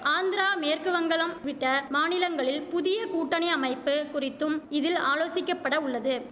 ஆந்திரா மேற்குவங்களம் விட்ட மாநிலங்களில் புதிய கூட்டணி அமைப்பு குறித்தும் இதில் ஆலோசிக்கப்பட உள்ளது